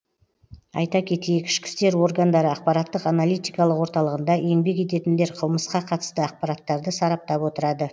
айта кетейік ішкі істер органдары ақпараттық аналитикалық орталығында еңбек ететіндер қылмысқа қатысты ақпараттарды сараптап отырады